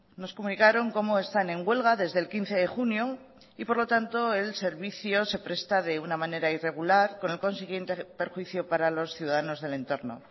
nos comunicaron cómo están en huelga desde el quince de junio y por lo tanto el servicio se presta de una manera irregular con el consiguiente perjuicio para los ciudadanos del entorno